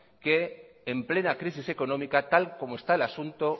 que en plena crisis económica tal como está el asunto